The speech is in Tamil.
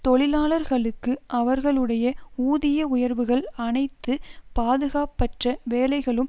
தொழிலாளர்களுக்கு அவர்களுடைய ஊதிய உயர்வுகள் அனைத்து பாதுகாப்பற்ற வேலைகளும்